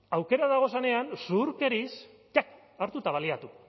aukerak dagozenean zuhurkeriz hartu eta baliatu